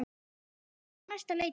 Jólin eru á næsta leiti.